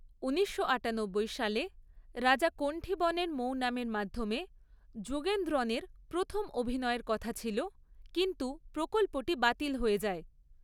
উনিশশো আটানব্বই সালে রাজা কণ্ঠীবনের মৌনামের মাধ্যমে যুগেন্দ্রনের প্রথম অভিনয়ের কথা ছিল, কিন্তু প্রকল্পটি বাতিল হয়ে যায়।